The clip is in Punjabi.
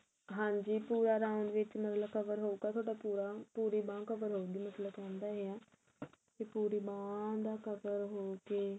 ਹਾਂਜੀ ਪੂਰਾ round ਵਿੱਚ ਮਤਲਬ cover ਹੋਊਗਾ ਤੁਹਾਡਾ ਪੂਰਾ ਪੂਰੀ ਬਾਂਹ cover ਹੋਊਗੀ ਮਤਲਬ ਤੁਹਾਨੂੰ ਤਾਂ ਇਹ ਹੈ ਕੀ ਪੂਰੀ ਬਾਂਹ ਦਾ cover ਹੋ ਕੇ